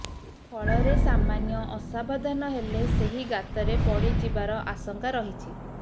ଫଳରେ ସାମାନ୍ୟ ଅସାବଧାନ ହେଲେ ସେହି ଗାତରେ ପଡ଼ି ଯିବାର ଆଶଙ୍କା ରହିଛି